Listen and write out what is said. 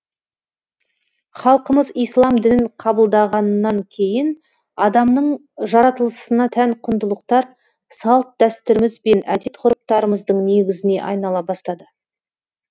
халқымыз ислам дінін қабылдағаннан кейін адамның жаратылысына тән құндылықтар салт дәстүріміз бен әдет ғұрыптарымыздың негізіне айнала бастады